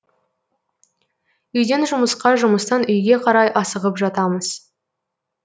үйден жұмысқа жұмыстан үйге қарай асығып жатамыз